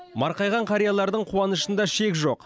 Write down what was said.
марқайған қариялардың қуанышында шек жоқ